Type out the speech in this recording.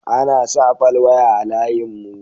Ana sa falwaya a layin mu